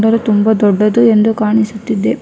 ರೆ ತುಂಬ ದೊಡ್ಡದು ಎಂದು ಕಾಣಿಸುತ್ತಿದೆ.